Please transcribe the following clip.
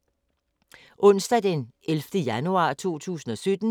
Onsdag d. 11. januar 2017